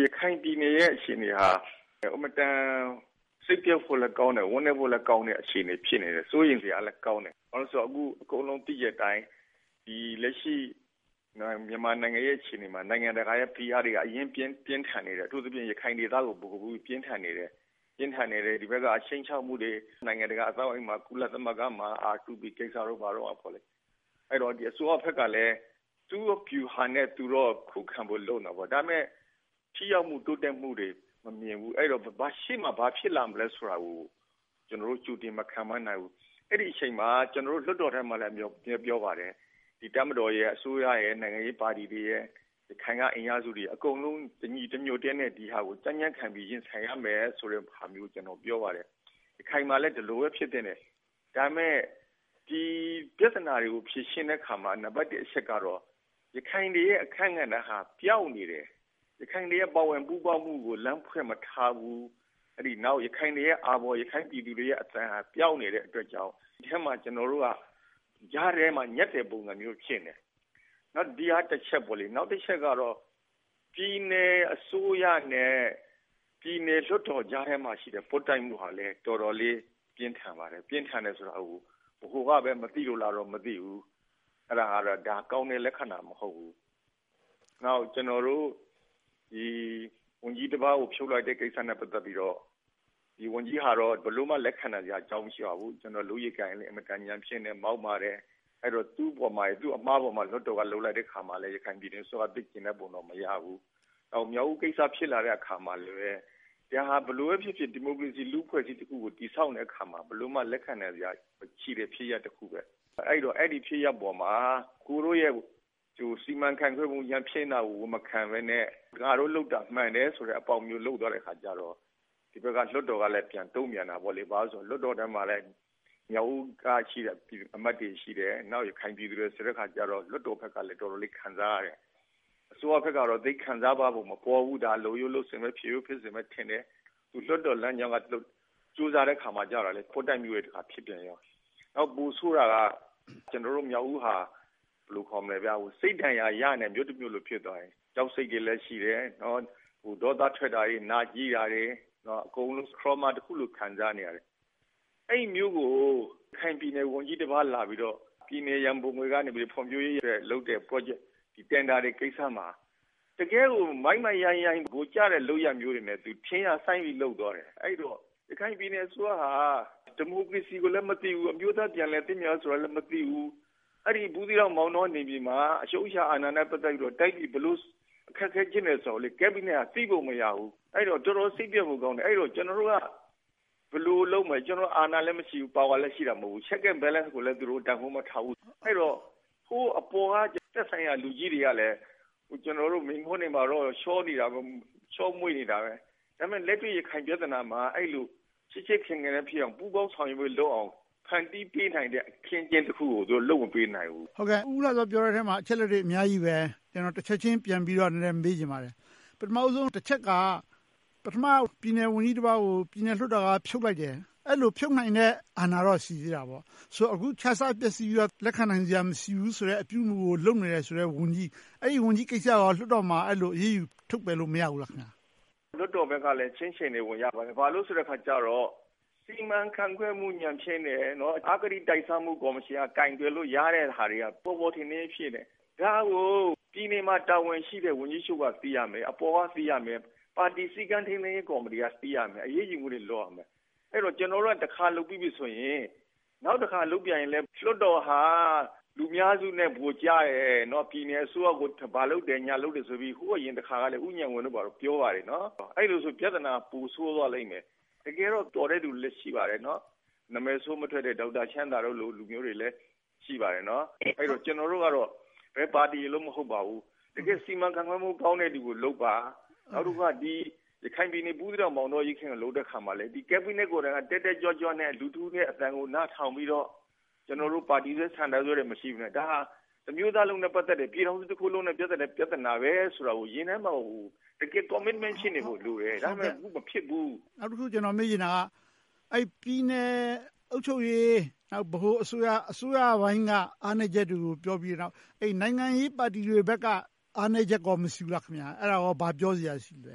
ရခိုင်ပြည်နယ်ရဲ့ အခြေအနေဟာ အင်မတန် စိတ်ပျက်ဖို့လည်းကောင်းတယ်။ ဝမ်းနည်းဖို့လည်းကောင်းတဲ့ အခြေအနေ ဖြစ်နေတယ်။ စိုးရိမ်စရာလည်းကောင်းတယ်။ ဘာဖြစ်လို့လဲဆိုတော့ အခု အကုန်လုံးသိတဲ့အတိုင်း လက်ရှိမြန်မာနိုင်ငံရဲ့ အခြေအနေမှာ နိုင်ငံတကာရဲ့ ဖိအားတွေက အရမ်းပြင်းထန်နေတယ်။ အထူးသဖြင့် ရခိုင်ဒေသကို ဗဟိုပြုပြင်းထန်နေတယ်။ ဒီဘက်က ခြိမ်းခြောက်မှုတွေ၊ နိုင်ငံတကာအသိုင်းအဝိုင်းမှာ၊ ကုလသမဂ္ဂမှာ R2P ကိစ္စတို့ဘာတို့ပေါ့။ အဲဒီတော့ အစိုးရဘက်ကလည်း သူ့ဗျူဟာနဲ့သူ ခုခံဖို့ လုပ်နေတယ်။ ဒါပေမဲ့ ထိရောက်မှု၊ တိုးတက်မှုတွေ မမြင်ဘူး။ ရှေ့မှာဘာဖြစ်လာမလဲဆိုတာကို ကျနော်တို့ ကြိုတင်မခန့်မှန်းနိုင်ဘူး။ အဲဒီအချိန်မှာ ကျနော်တို့ လွှတ်တော်ထဲမှာလည်း အမြဲပြောပါတယ်… တပ်မတော်၊ အစိုးရနဲ့ နိုင်ငံရေးပါတီတွေနဲ့ ရခိုင်က အင်အားစုတွေ အကုန်လုံး တညီတညွှတ်တည်းနဲ့ ဒီဟာကို ကြံ့ကြံ့ခံပြီး ရင်ဆိုင်ရမယ်ဆိုတဲ့ ဗျူဟာမျိုးကို ကျနော် ပြောပါတယ်။ ရခိုင်မှာလည်း ဒီလိုပဲ ဖြစ်သင့်တယ်။ ဒါပေမဲ့ ဒီပြဿနာတွေကို ဖြေရှင်းတဲ့အခါမှာ နံပတ်တစ်အချက်ကတော့ ရခိုင်တွေရဲ့ အခန်းကဏ္ဍဟာ ပျောက်နေတယ်။ ရခိုင်တွေရဲ့ ပါဝင်ပူးပေါင်းမှုကို လမ်းဖွင့်မထားဘူး။ နောက် ရခိုင်တွေရဲ့ အာဘော်၊ ရခိုင်ပြည်သူတွေရဲ့ အသံ ပျောက်နေတဲ့အတွက်ကြောင့် အထဲမှာ ကျနော်တို့က ကြားထဲမှာ ညပ်နေတဲ့သဘောမျိုး ဖြစ်နေတယ်။ ဒီဟာက တချက်ပေါ့။ နောက်တချက်ကတော့ ပြည်နယ်အစိုးရနဲ့ ပြည်နယ်လွှတ်တော်ကြားထဲမှာရှိတဲ့ ပွတ်တိုက်မှုဟာလည်း တော်တော်လေး ပြင်းထန်ပါတယ်။ ပြင်းထန်တယ်ဆိုတာကို ဗဟိုကပဲ မသိလို့လားတော့ မသိဘူး။ ဒါက ကောင်းတဲ့လက္ခဏာမဟုတ်ဘူး။ နောက် ကျနော်တို့ ဝန်ကြီးတပါးကို ဖြုတ်လိုက်တဲ့ကိစ္စနဲ့ ပတ်သက်ပြီးတော့ ဒီဝန်ကြီးကတော့ ဘယ်လိုမှ လက်ခံနိုင်စရာ မရှိပါဘူး။ လုပ်ရည်ကိုင်ရည်လည်း ညံ့ဖျင်းတယ်။ မောက်မာတယ်။ အဲဒီ သူ့အမှားပေါ်မှာ လွှတ်တော်က လုပ်လိုက်တဲ့အခါမှာလည်း ရခိုင်ပြည်နယ်အစိုးရက သိပ်ကျေနပ်ပုံ မရဘူး။ နောက် မြောက်ဦးကိစ္စ ဖြစ်လာတဲ့အခါမှာလည်း ဒါဟာ ဘယ်လိုပဲဖြစ်ဖြစ် ဒီမိုကရေစီ၊ လူ့အဖွဲ့အစည်းတခုကို တည်ဆောက်နေတဲ့အခါမှာ ဘယ်လိုမှ လက်ခံနိုင်စရာ မရှိတဲ့ဖြစ်ရပ်တခု။ အဲဒီတော့ အဲဒီဖြစ်ရပ်ပေါ်မှာ ကိုယ်တို့ရဲ့ စီမံခန့်ခွဲပုံ ညံ့ဖျင်းတာကို ဝန်မခံဘဲနဲ့ ငါတို့လုပ်တာ မှန်တယ်ဆိုတဲ့ အပေါက်မျိုး လုပ်သွားတဲ့အခါကြတော့ ဒီဘက်က လွှတ်တော်ကလည်း ပြန်တုံ့ပြန်တာပေါ့.. ဘာဖြစ်လို့လဲဆိုတော့ လွှတ်တော်ထဲမှာ မြောက်ဦးကအမတ်တွေ ရှိတယ်။ နောက် ရခိုင်ပြည်သူတွေဆိုတော့ လွှတ်တော်ဘက်ကလည်း တော်တော်လေး ခံစားရတယ်။ အစိုးရဘက်ကတော့ သိပ်ခံစားသွားပုံ မပေါ်ဘူး။ ဒါက လုပ်ရိုးလုပ်စဉ်၊ ဖြစ်ရိုးဖြစ်စဉ်ပဲ ထင်တယ်။ လွှတ်တော်လမ်းကြောင်းက ကြိုးစားတဲ့အခါကြတော့ ခွပ်တိုက်မှု ဖြစ်ပြန်ရော။ နောက် ပိုဆိုးတာက ကျနော်တို့ မြောက်ဦးဟာ စိတ်ဒဏ်ရာ ရနေတဲ့ မြို့တမြို့ ဖြစ်သွားတယ်။ ကြောက်စိတ်တွေလည်းရှိတယ်။ ဒေါသထွက်တာတွေ၊ နာကြည်းတာတွေ၊ အကုန်လုံး Truma တခုလို့ ခံစားနေရတယ်။ အဲဒီမြို့ကို ရခိုင်ပြည်နယ် ဝန်ကြီးတပါးလာပြီးတော့ ပြည်နယ်ရန်ပုံငွေကနေ ဖွံ့ဖြိုးရေးအတွက်လုပ်တဲ့ Project တင်ဒါတွေကိစ္စမှာ တကယ်ကို မိုက်မိုက်ရိုင်းရိုင်း ဗိုလ်ကျတဲ့လုပ်ရပ်မျိုးတွေနဲ့ သူ ထင်ရာစိုင်းလုပ်သွားတယ်။ အဲဒီတော့ ရခိုင်ပြည်နယ်အစိုးရဟာ ဒီမိုကရေစီကိုလည်း မသိဘူး။ အမျိုးသားပြန်လည်သင့်မြတ်ရေးလည်း မသိဘူး။ ဘူးသီးတောင်၊ မောင်းတောနယ်မြေမှာ အချုပ်အခြာအာဏာနဲ့ ပတ်သက်ပြီး တိုင်းပြည် ဘယ်လိုအခက်အခဲ ဖြစ်နေတယ်ဆိုတာကိုလည်း Cabinet က သိပုံမရဘူး။ အဲဒီတော့ တော်တော်စိတ်ပျက်ဖို့ကောင်းတယ်။ ကျနော်တို့က ဘယ်လိုလုပ်မလဲ။ ကျနော်တို့က အာဏာလည်း မရှိဘူး။ Power လည်း ရှိတာမဟုတ်ဘူး။ Check and Balance ကိုလည်း သူတို့ တန်းဖိုးမထားဘူး။ အဲဒီတော့ ဟို အပေါ်က သက်ဆိုင်ရာလူကြီးတွေကလည်း မိန့်ခွန်းတွေမှာတော့ ချောမွှေ့နေတာပဲ။ ဒါပေမဲ့ လက်တွေ့ ရခိုင်ပြဿနာမှာ အဲဒီလို ချစ်ချစ်ခင်ခင်ဖြစ်အောင် ပူးပေါင်းဆောင်ရွက်မှုလုပ်အောင် ဖန်တီးပေးနိုင်တဲ့ အခင်းအကျင်းတခုကို သူတို့ လုပ်မပေးနိုင်ဘူး။ ဦးဦးလှစော ပြောတဲ့အထဲမှာ အချက်အလက်တွေ အများကြီးပါ။ ကျနော်တချက်ချင်း ပြန်ပြီးတော့ မေးချင်ပါတယ်။ ပထမဦးဆုံးတချက်က ပြည်နယ်ဝန်ကြီးတပါးကို ပြည်နယ်လွှတ်တော်က ဖြုတ်လိုက်တယ်။ အဲဒီလို ဖြုတ်နိုင်တဲ့အာဏာတော့ ရှိသေးတာပေါ့။ ဆိုတော့ အခုခြစားပျက်ဆီးပြီးတော့ လက်ခံနိုင်စရာ မရှိဘူးဆိုတဲ့ အပြုအမှုကို လုပ်နေတယ်ဆိုတဲ့ ဝန်ကြီး။ အဲဒီဝန်ကြီးကိစ္စကို လွှတ်တော်မှာ အရေးယူ ထုတ်ပယ်လို့ မရဘူးလား။ လွှတ်တော်ဘက်ကလည်း ချင့်ချိန်နေပုံရပါတယ်။ ဘာဖြစ်လို့လဲဆိုတော့ စီမံခန့်ခွဲမှု ညံ့ဖျင်းတယ်။ အဂတိလိုက်စားမှု ကော်မရှင်က ကိုင်တွယ်လို့ ရတဲ့ဟာတွေက ပေါ်ပေါ်ထင်ထင်ကြီး ဖြစ်နေတယ်။ ဒါကို ပြည်နယ်မှာ တာဝန်ရှိတဲ့ ဝန်ကြီးတချို့က သိရမယ်။ အပေါ်က သိရမယ်။ ပါတီစည်းကမ်းထိန်းသိမ်းရေး ကော်မတီက သိရမယ်။ အရေးယူမှုတွေ လုပ်ရမယ်။ အဲဒီတော့ ကျနော်တို့က တခါလုပ်ပြီးပြီဆိုရင် နောက်တခါ လုပ်ပြန်ရင်လည်း လွှတ်တော်ဟာ လူများစုနဲ့ ဗိုလ်ကျနေတယ်။ ပြည်နယ်အစိုးရကို ဘာလုပ်တယ်၊ ညာလုပ်တယ်ဆိုပြီး ဟိုအရင်တခါကလည်း ဦးဉာဏ်ဝင်းတို့ ပြောပါတယ်။ အဲဒီလိုဆို ပြဿနာက ပိုဆိုးသွားလိမ့်မယ်။ တကယ်တော့ တော်တဲ့လူတွေလည်း ရှိပါတယ်။ နာမည်ဆိုးမထွက်တဲ့ ဒေါက်တာချမ်းသာတို့လို လူမျိုးတွေလည်း ရှိပါတယ်။ အဲဒီတော့ ကျနော်တို့ကတော့ ဘယ်ပါတီရယ်လို့ မဟုတ်ပါဘူး။ တကယ့်စီမံခန့်ခွဲမှု ကောင်းတဲ့လူကို လုပ်ပါ။ နောက်တခုက ရခိုင်ပြည်နယ် ဘူးသီးတောင်၊ မောင်းတောအရေးအခင်းကို လုပ်တဲ့အခါမှာလည်း Cabinet ကိုယ်တိုင်က တက်တက်ကြွကြွနဲ့ လူတဦးရဲ့အသံကို နားထောင်ပြီးတော့ ပါတီဆွဲ၊ ဆန္ဒဆွဲတွေ မရှိဘဲနဲ့ ဒါဟာ တမျိုးသားလုံးနဲ့ ပတ်သက်တဲ့၊ ပြည်ထောင်စုတခုလုံးနဲ့ ပတ်သက်တဲ့ ပြဿနာဆိုပြီး ရင်ထဲမှာကို တကယ် Commitment ရှိနေဖို့လိုတယ်။ အခုက အဲဒီလို မဖြစ်နေဘူး။ နောက်တခု ကျနော်မေးချင်တာက အဲဒီပြည်နယ်အုပ်ချုပ်ရေး၊ ဗဟိုအစိုးရပိုင်းက အားနည်းချက်တွေကို ပြောပြီးနောက်၊ နိုင်ငံရေးပါတီတွေဘက်က အားနည်းချက်ကော မရှိဘူးလား။ အဲဒါကို ဘာပြောစရာရှိပါလဲ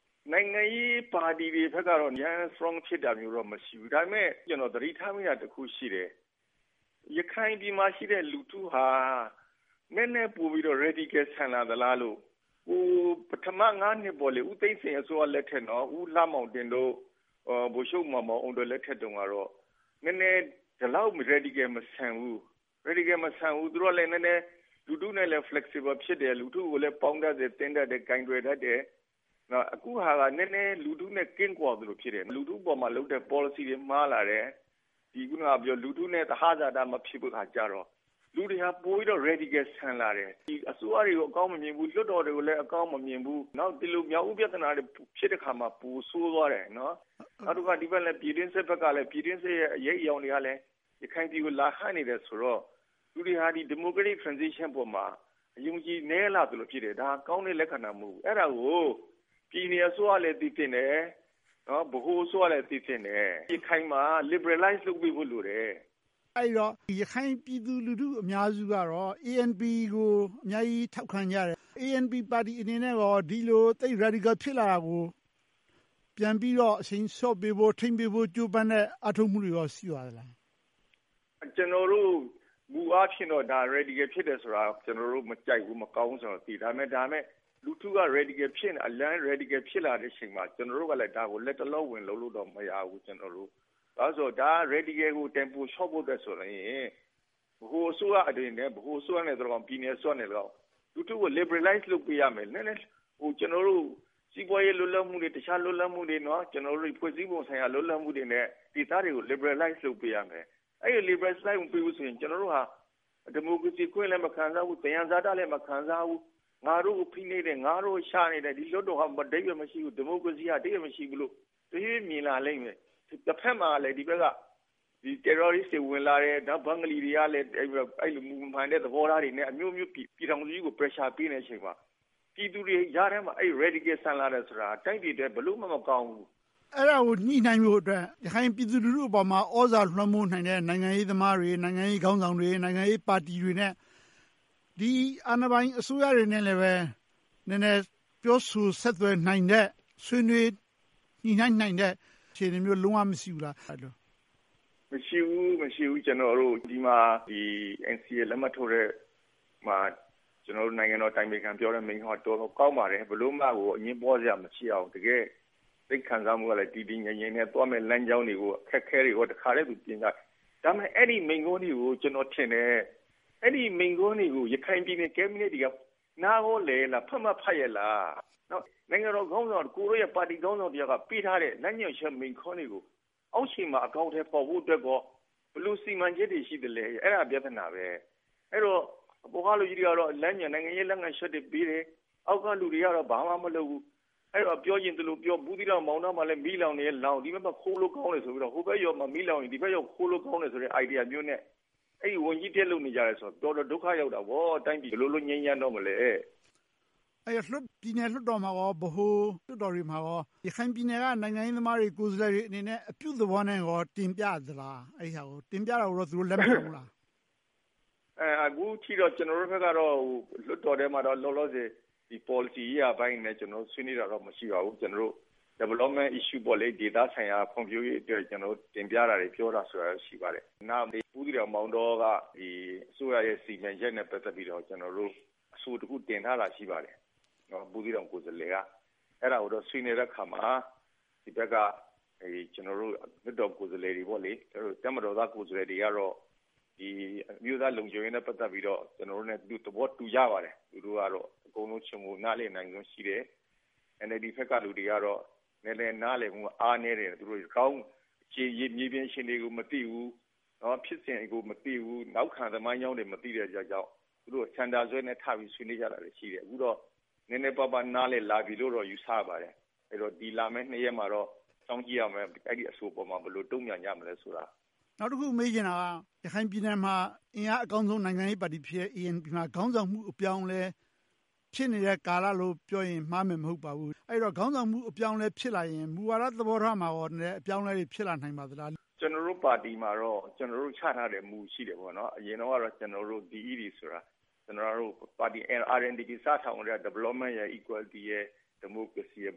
။ နိုင်ငံရေးပါတီတွေဘက်ကတော့ အရမ်း Strong ဖြစ်တာမျိုးတော့ မရှိဘူး။ ဒါပေမဲ့ ကျနော် သတိထားမိတာတခုရှိတယ်။ ရခိုင်ပြည်နယ်မှာရှိတဲ့ လူထုဟာ နည်းနည်းပိုပြီးတော့ Radical ဆန်လာသလားလို့။ ပထမ နှစ် ဦးသိန်းစိန်အစိုးရလက်ထက်၊ ဦးလှမောင်တင်တို့၊ ဗိုလ်ချုပ်မောင်မောင်အုန်းတို့ လက်ထက်တုန်းကတော့ နည်းနည်း ဒီလောက် Radical မဆန်ဘူး။ သူတို့ကလည်း လူထုနဲ့လည်း နည်းနည်း Flexible ဖြစ်တယ်။ လူထုကို ပေါင်းတတ်တယ်၊ သင်းတတ်တယ်၊ ကိုင်တွယ်တတ်တယ်။ အခုဟာက နည်းနည်း လူထုနဲ့ ကင်းကွာသလို ဖြစ်နေတယ်။ လူထုအပေါ်လုပ်တဲ့ ပေါ်လစီတွေ မှားလာတယ်။ လူထုနဲ့ သဟဇာတ မဖြစ်တဲ့အခါကြတော့ လူတွေက ပိုပြီးတော့ Radical ဆန်လာတယ်။ အစိုးရတွေကို အကောင်းမမြင်ဘူး။ လွှတ်တော်ကိုလည်း အကောင်းမမြင်ဘူး။ နောက် မြောက်ဦးပြဿနာတွေ ဖြစ်တဲ့အခါမှာ ပိုဆိုးသွားတယ်။ နောက်တခါ ပြည်တွင်းစစ် အရိပ်အရောင်တွေကလည်း ရခိုင်ပြည်ကို လာဟပ်နေတယ်ဆိုတော့ လူတွေက Democratic Transition ပေါ်မှာ အယုံအကြည် နည်းလာသလို ဖြစ်လာတယ်။ ဒါက ကောင်းတဲ့လက္ခဏာ မဟုတ်ဘူး။ အဲဒါကို ပြည်နယ်အစိုးရကလည်း သိသင့်တယ်။ ဗဟိုအစိုးရလည်း သိသင့်တယ်။ ရခိုင်မှာ Liberalize လုပ်ပေးဖို့လိုတယ်။ အဲဒီတော့ ရခိုင်ပြည်သူလူထု အများစုကတော့ ANP ကို အများကြီးထောက်ခံကြတယ်။ APN ပါတီအနေနဲ့ ဒီလို Radical ဖြစ်လာတာကို ပြန်ပြီးတော့ အရှိန်လျှော့ပေးဖို့၊ ထိန်းပေးဖို့ ကြိုးပမ်းတဲ့ အားထုတ်မှုတွေကော ရှိပါသလား။ ကျနော်တို့ မူအားဖြင့်တော့ Radical ဖြစ်တယ်ဆိုတာ ကျနော်တို့ မကြိုက်ဘူး၊ မကောင်းဘူးဆိုတာ သိတယ်။ ဒါပေမဲ့ လူထုက Radical ဖြစ်၊ အရမ်း Radical ဖြစ်လာတဲ့အချိန်မှာ ကျနော်တို့က ဒါကို လတ်တလော ဝင်လုပ်ဖို့တော့ မရဘူး။ ဘာဖြစ်လို့လဲဆိုတော့ Radical ကို Tempo လျှော့ဖို့ဆိုရင် ဗဟိုအစိုးရတွေနဲ့ ဗဟိုအစိုးရနဲ့သော်လည်းကောင်း၊ ပြည်နယ်အစိုးရအနေနဲ့သော်လည်းကောင်း လူထုကို Liberalize လုပ်ပေးရမယ်။ ကျနော်တို့ စီးပွားရေး လွတ်လပ်မှုတွေ၊ တခြားလွတ်လပ်မှုတွေ၊ ဖွဲ့စည်းပုံဆိုင်ရာ လွတ်လပ်မှုတွေနဲ့ ဒေသတွေကို Liberalize လုပ်ပေးရမယ်။ အဲဒီလို Liberalize မပေးဘူးဆိုရင် ကျနော်တို့ဟာ ဒီမိုကရေစီ အခွင့်အရေးလည်း မခံစားရဘူး။ သယံဇာတတွေလည်း မခံစားရဘူး။ ငါတို့ကို ဖိနှိပ်တယ်။ ငါတို့ကို ချနေတယ်။ ဒီလွှတ်တော်က အဓိပ္ပါယ် မရှိဘူး။ ဒီမိုကရေစီက အဓိပ္ပါယ် မရှိဘူးလို့ တွေးမြင်လာလိမ့်မယ်။ တဘက်မှာလည်း Terrorists တွေ ဝင်လာတယ်။ ဘင်္ဂလီတွေက မူမမှန်တဲ့ သဘောထားတွေနဲ့ အမျိုးမျိုး ပြည်ထောင်စုကြီးကို Pressure ပေးနေတဲ့အချိန်မှာ ပြည်သူတွေကြားထဲမှာ Radical ဆန်လာတယ်ဆိုတာ တိုင်းပြည်အတွက် ဘယ်လိုမှ မကောင်းဘူး။ အဲဒါကို ညှိနှိုင်းဖို့အတွက် ရခိုင်ပြည်သူလူထုအပေါ်မှာ သြဇာလွှမ်းမိုးနိုင်တဲ့ နိုင်ငံရေးသမားတွေ၊ နိုင်ငံရေးခေါင်းဆောင်တွေ၊ နိုင်ငံရေးပါတီတွေနဲ့ ဒီအာဏာပိုင် အစိုးရတွေနဲ့ နည်းနည်းပြောဆိုဆက်သွယ်နိုင်တဲ့ ဆွေးနွေးညှိနှိုင်းနိုင်တဲ့ အခြေအနေမျိုး လုံးဝမရှိဘူးလား။ မရှိဘူး။ မရှိဘူး ဒီမှာ ကျနော်တို့က NCA လက်မှတ်ထိုးတဲ့ပွဲမှာ နိုင်ငံတော်အတိုင်ပင်ခံပြောတဲ့ မိန့်ခွန်းက တော်တော်ကောင်းပါတယ်။ ဘယ်လိုမှ အငြင်းပွားစရာမရှိအောင် တကယ့် စိတ်ခံစားမှုကလည်း တည်တည်ငြိမ်ငြိမ်နဲ့ သွားမယ်လမ်းကြောင်းတွေ၊ အခက်အခဲတွေကို သူ တင်ပြပြောသွားတယ်။ ဒါပေမဲ့ အဲဒီမိန့်ခွန်းတွေကို ကျနော်ထင်တယ် ရခိုင်ပြည်နယ် Cabinet တွေက နားကောလည်ရဲ့လား၊ ဖတ်ကော ဖတ်ရဲ့လား။ နိုင်ငံတော်ခေါင်းဆောင်၊ ပါတီခေါင်းဆောင်တယောက်က ပေးထားတဲ့ လမ်းညွှန်ချက်မိန့်ခွန်းတွေကို အောက်ခြေမှာ အကောင်အထည်ဖော်ဖို့အတွက် ဘယ်လိုစီမံချက်တွေ ရှိသလဲ။ အဲဒါက ပြဿနာ။ အဲဒီတော့ အပေါ်ကလူကြီးတွေကတော့ လမ်းညွှန်၊ နိုင်ငံရေးလုပ်ငန်းချက်တွေ ပေးတယ်။ အောက်ကလူတွေကတော့ ဘာမှမလုပ်ဘူး။ ပြောချင်သလိုပြော ဘူးသီးတောင်၊ မောင်းတောမှာ မီးလောင်ရင်လည်း လောင်ပြီ။ ဒီဘက်မှာ ခိုးလို့ကောင်းတယ်ဆိုပြီးတော့ ဟိုဘက်ရွာမှာ မီးလောင်ရင် ဒီဘက်ရွာမှာ ခိုးလို့ကောင်းတယ်ဆိုတဲ့ Idea မျိုးနဲ့ ဝန်ကြီးတက်လုပ်နေကြတယ်ဆိုတော့ တော်တော်ဒုက္ခရောက်တာပေါ့။ ဒီတိုင်းပြည် ဘယ်လိုလို့ ငြိမ်းချမ်းတော့မလဲ။ အဲဒီတော့ ပြည်နယ်လွှတ်တော်မှာကော ဗဟိုလွှတ်တော်တွေမှာ ရခိုင်ပြည်နယ်က နိုင်ငံရေးသမားတွေ ကိုယ်စားလှယ်တွေအနေနဲ့ အပြုသဘောနဲ့ တင်ပြသလား။ အဲဒီဟာကို တင်ပြတာကို သူတို့ လက်ခံဖူးလား။ အခုထိတော့ ကျနော်တို့ဘက်က လွှတ်တော်ထဲမှာ လောလောဆယ် ပေါ်လစီရေးရာပိုင်းအနေနဲ့ ဆွေးနွေးတာ မရှိပါဘူး။ ကျနော်တို့ Development Issue ဒေသဆိုင်ရာ ဖွံ့ဖြိုးရေးအတွက် တင်ပြထားတာတွေ၊ ပြောဆိုထားတာတွေ ရှိပါတယ်။ ဘူးသီးတောင်၊ မောင်းတောက အစိုးရနဲ့ စီမံချက်နဲ့ ပတ်သက်ပြီးတော့ ကျနော်တို့ အဆိုတခု တင်ထားတာ ရှိပါတယ်။ ဘူးသီးတောင်ကိုယ်စားလှယ်က အဲဒါကိုတော့ ဆွေးနွေးတဲ့အခါမှာ ဒီဘက်က လွှတ်တော်ကိုယ်စားလှယ်တွေ၊ တပ်မတော်သား ကိုယ်စားလှယ်တွေကတော့ အမျိုးသားလုံခြုံရေးနဲ့ ပတ်သက်ပြီးတော့ ကျနော်တို့နဲ့ သဘောတူကြပါတယ်။ သူတို့က အကုန်လုံခြုံငုံနားလည်နိုင်စွမ်း ရှိတယ်။ NLD ဘက်က လူတွေကတော့ နည်းနည်းနားလည်မှုက အားနည်းတယ်။ မြေပြင်အခြေအနေကို သူတို့ မသိဘူး။ ဖြစ်စဉ်ကို မသိဘူး။ နောက်ခံသမိုင်းကြောင်းတွေ မသိတဲ့အတွက်ကြောင့် သူတို့ ဆန္ဒစွဲနဲ့ ထပြီးတော့ ဆွေးနွေးကြတာတွေ ရှိတယ်။ အခုတော့ နည်းနည်းပါးပါး နားလည်လာပြီလို့တော့ ယူဆရပါတယ်။ ဒီလာမယ့် နှစ်ရက်မှာတော့ အဲဒီအဆိုအပေါ် ဘယ်လိုတုံ့ပြန်ကြမလဲဆိုတာကို စောင့်ကြည့်ရမယ်။ နောက်တခုက မေးချင်တာက ရခိုင်ပြည်နယ်မှာ အင်အားအကောင်းဆုံး နိုင်ငံရေးပါတီဖြစ်တဲ့ ANP မှာ ခေါင်းဆောင်မှုအပြောင်းအလဲ ဖြစ်နေတဲ့ကာလလို့ ပြောရင် မှားမယ်မဟုတ်ပါဘူး။ အဲဒီတော့ ခေါင်ဆောင်မှု အပြောင်းအလဲ ဖြစ်လာရင် မူဝါဒ သဘောထားမှာကော အပြောင်းအလဲတွေ ဖြစ်လာနိုင်ပါသလား။ ကျနော်တို့ပါတီမှာတော့ ချမှတ်ထားတဲ့ မူ ရှိတယ်။ အရင်တုန်းကတော့ DED ဆိုတာ ကျနော်တို့ပါတီ RNDP စထောင်ကတည်းက Development, Equality and Democracy ရှိတယ်။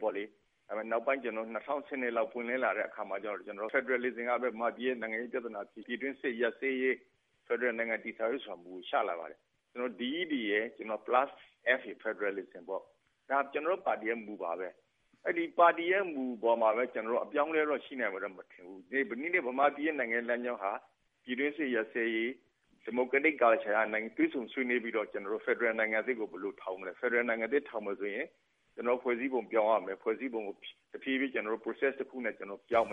နောက်ပိုင်း ၂၀၁၂ ပွင့်လင်းလာတဲ့အခါမှာ Federalism က မြန်မာပြည်ရဲ့ နိုင်ငံရေးပြဿနာ ဖြေရှင်းပြီး ပြည်တွင်းစစ်ရပ်စဲရေး၊ ဖယ်ဒရယ်ပြည်ထောင်စု တည်ဆောက်ရေး မူ ကို ချလာပါတယ်။ ကျနော်တို့ DED Plus Federalism က ကျနော်တို့ပါတီရဲ့ မူဝါဒပါ။ အဲဒီပါတီရဲ့ မူအပေါ်မှာပဲ ကျနော်တို့ အပြောင်းအလဲတော့ ရှိနိုင်မယ် မထင်ဘူး။ ဒီနေ့ မြန်မာနိုင်ငံရဲ့ နိုင်ငံရေးလမ်းကြောင်းဟာ ပြည်တွင်းစစ်ရပ်စဲရေး၊ Democratic culture နဲ့ တွေ့ဆုံဆွေးနွေးပြီးတော့ ဖယ်ဒရယ်နိုင်ငံသစ်ကို ဘယ်လိုထောင်မလဲ။ ဖယ်ဒရယ် နိုင်ငံသစ်ထောင်မယ်ဆိုရင် ဖွဲ့စည်းပုံ ပြောင်းရမယ်။ ဖွဲ့စည်းပုံကို ကျနော်တို့ Process တခုနဲ့ ပြောင်းမယ်